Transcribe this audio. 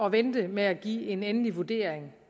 at vente med at give en endelig vurdering